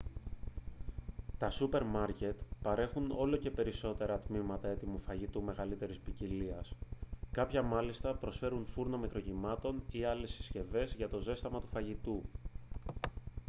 τα σούπερ μάρκετ παρέχουν όλο και περισσότερα τμήματα έτοιμου φαγητού μεγαλύτερης ποικιλίας κάποια μάλιστα προσφέρουν φούρνο μικροκυμάτων ή άλλες συσκευές για το ζέσταμα του φαγητού